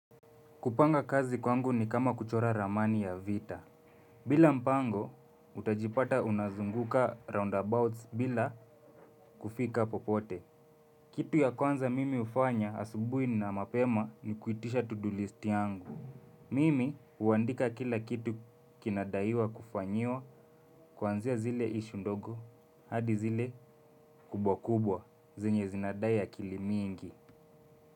Kupanga kazi kwangu ni kama kuchora ramani ya vita. Bila mpango, utajipata unazunguka roundabouts bila kufika popote. Kitu ya kwanza mimi hufanya asubuhi na mapema ni kuitisha to do list yangu. Mimi huandika kila kitu kinadaiwa kufanyiwa kuanzia zile issue ndogo, hadi zile kubwa kubwa, zenye zinadai akili mingi.